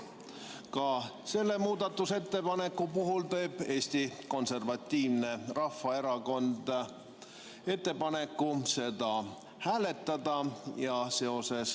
Ka selle muudatusettepaneku puhul teeb Eesti Konservatiivne Rahvaerakond ettepaneku seda hääletada.